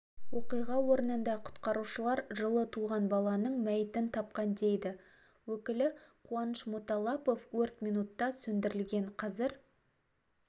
оқиға орнында құтқарушылар жылы туған баланың мәйітін тапқан дейді өкілі қуаныш муталлапов өрт минутта сөндірілген қазір